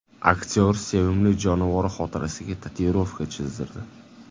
Aktyor sevimli jonivori xotirasiga tatuirovka chizdirdi.